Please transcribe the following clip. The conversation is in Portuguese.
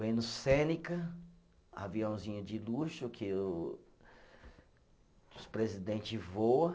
Voei no Cênica, aviãozinho de luxo, que o, que os presidentes voa